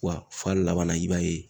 Wa f'a laban na, i b'a ye